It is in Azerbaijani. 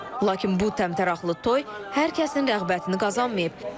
Lakin bu təmtəraqlı toy hər kəsin rəğbətini qazanmayıb.